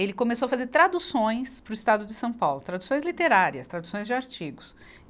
Ele começou a fazer traduções para o estado de São Paulo, traduções literárias, traduções de artigos.